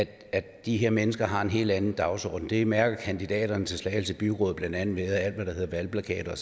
at de her mennesker har en helt anden dagsorden det mærker kandidaterne til slagelse byråd blandt andet ved at alt hvad der hedder valgplakater